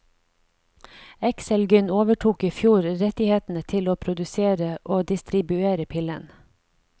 Exelgyn overtok i fjor rettighetene til å produsere og distribuere pillen.